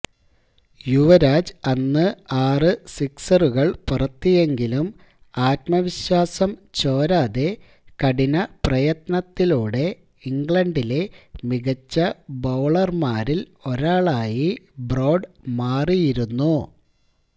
യുവരാജ് അന്ന് ആറ് സിക്സറുകള് പറത്തിയെങ്കിലും ആഥ്മവിശ്വാസം ചോരാതെ കഠിന പ്രയത്നത്തിലൂടെ ഇംഗ്ലണ്ടിലെ മികച്ച ബൌളര്മാരില് ഒരാളായി ബ്രോഡ് മാറിയിരുന്നു